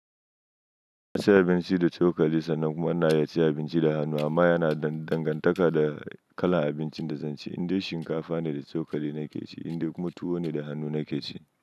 Ana cin abinci da cokali sannan kuma ana iya cin abinci da hannu amma yana da dangantaka da kalan abincin da zan ci, indai shinkafa ne da cokali nake ci indai kuma tuwo ne da hannu nake ci.